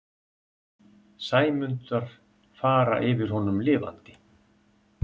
Sæmundar fara yfir honum lifandi.